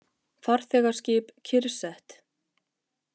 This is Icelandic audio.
Farþegaskip kyrrsett